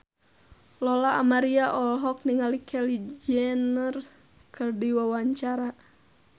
Lola Amaria olohok ningali Kylie Jenner keur diwawancara